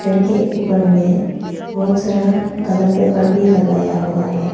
घर के ऊपर में बहुत सारा कलर पेपर भी लगाया हुआ है।